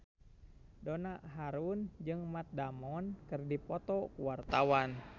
Donna Harun jeung Matt Damon keur dipoto ku wartawan